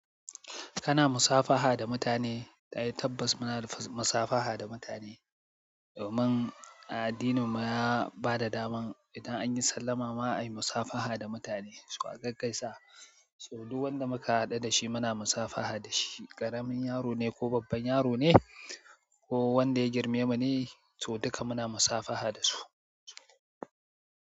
Kana musafaha da mutane? Tabbata muna musafaha da mutane. Domin a addinin mu ya bada daman idan anyi sallama ma a yi musafaha da mutane. Su a gaggaisa, so du wanda muka haɗu dashi muna musafaha dashi. Ƙaramin yaro ne ko babban yaro ne ko wanda ya girme mu ne, so duka muna musafaha dasu.